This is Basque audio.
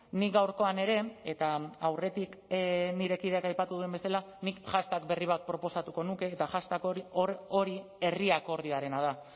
nik gaurkoan ere eta aurretik nire kideak aipatu duen bezala nik hashtag berri bat proposatuko nuke eta hashtag hori da